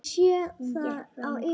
Ég sé það á yður.